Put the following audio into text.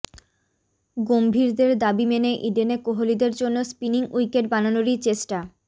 গম্ভীরদের দাবি মেনে ইডেনে কোহলিদের জন্য স্পিনিং উইকেট বানানোরই চেষ্টা